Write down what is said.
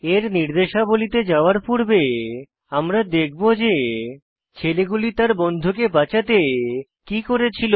এর নির্দেশাবলীতে যাওয়ার পূর্বে আমরা দেখব যে ছেলেগুলি তার বন্ধুকে বাঁচাতে কি করেছিল